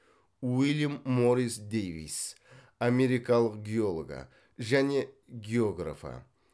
уильям моррис дейвис америкалық геологы және географы